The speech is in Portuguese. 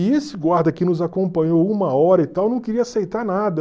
E esse guarda que nos acompanhou uma hora e tal, não queria aceitar nada.